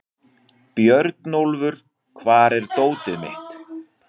Björnólfur, hvar er dótið mitt?